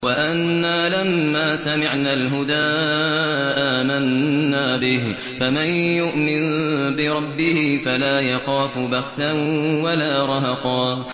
وَأَنَّا لَمَّا سَمِعْنَا الْهُدَىٰ آمَنَّا بِهِ ۖ فَمَن يُؤْمِن بِرَبِّهِ فَلَا يَخَافُ بَخْسًا وَلَا رَهَقًا